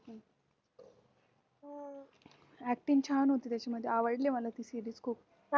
acting छान होती त्याची म्हणजे आवडली मला ती series खूप